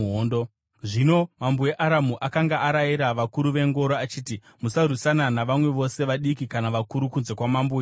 Zvino mambo weAramu akanga arayira vakuru vengoro achiti, “Musarwisana navamwe vose, vadiki kana vakuru kunze kwamambo weIsraeri.”